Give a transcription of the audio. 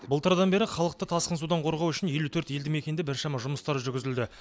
былтырдан бері халықты тасқын судан қорғау үшін елу төрт елді мекенде біршама жұмыстар жүргізілді